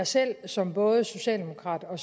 selv som både socialdemokrat og